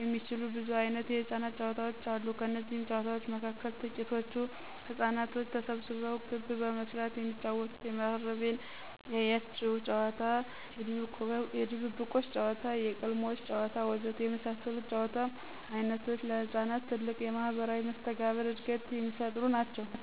የሚችሉ ብዙ ዓይነት የሕፃናት ጨዋታዎች አሉ። ከነዚህም ጨዋታዎች መካከል ትቂቶቹ ሕፃናቶች ተሰብስበው ክብ በመስራት የሚጫወቱት የመሃረሜን ያያችሁ ጨዋታ፣ የድብብቆሽ ጨዋታ፣ የቅልሞሽ ጨዋታ ወዘተ የመሳሰሉት የጨዋታ ዓይነቶች ለሕፃናት ትልቅ የማህበራዊ መስተጋብር ዕድገትን የሚፈጥሩ ናቸው።